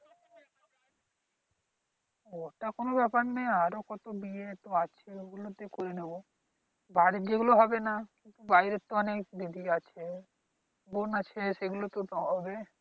ওটা কোন ব্যাপার নেই আরো কত বিয়ে আছে। তো অগুলো তে করে নেব, বাড়ীর যেগুলো হবে না। বাড়ীর অনেক দেরি আছে বোন আছে সেগুলো তো তে হবে।